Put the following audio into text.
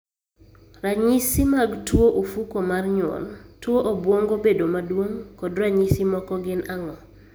Ranyisi mag tuo ufuko mar nyuol, tuo obwongo bedo maduong' kod ranyisi moko gin ang'o?